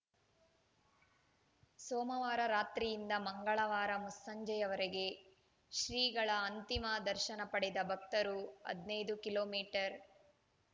ಸೋಮವಾರ ರಾತ್ರಿಯಿಂದ ಮಂಗಳವಾರ ಮುಸ್ಸಂಜೆಯ ವರೆಗೆ ಶ್ರೀಗಳ ಅಂತಿಮ ದರ್ಶನ ಪಡೆದ ಭಕ್ತರು ಹದಿನೈದು ಕಿಲೋ ಮೀಟರ್